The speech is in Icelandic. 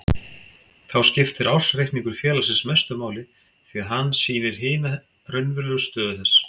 Þá skiptir ársreikningur félagsins mestu máli því að hann sýnir hina raunverulegu stöðu þess.